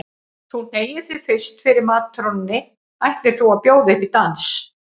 Þú hneigir þig fyrst fyrir matrónunni ætlir þú að bjóða upp í dans.